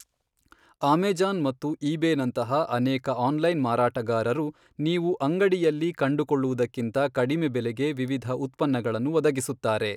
Amazon ಮತ್ತು eBay ನಂತಹ ಅನೇಕ ಆನ್ಲೈನ್ ಮಾರಾಟಗಾರರು, ನೀವು ಅಂಗಡಿಯಲ್ಲಿ ಕಂಡುಕೊಳ್ಳುವುದಕ್ಕಿಂತ ಕಡಿಮೆ ಬೆಲೆಗೆ ವಿವಿಧ ಉತ್ಪನ್ನಗಳನ್ನು ಒದಗಿಸುತ್ತಾರೆ.